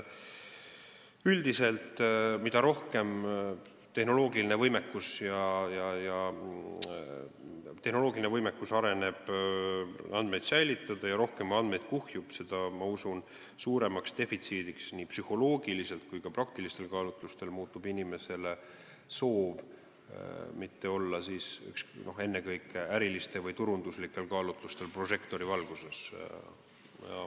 Üldiselt ma usun, et mida rohkem areneb tehnoloogiline võimekus andmeid säilitada ja mida rohkem andmeid kuhjub, seda suuremaks nii psühholoogiliselt kui ka praktilistel kaalutlustel muutub inimese soov mitte olla ennekõike ärilistel või turunduslikel kaalutlustel prožektorivalguses.